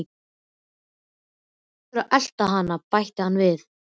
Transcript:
Þú verður að elta hann bætti hann við.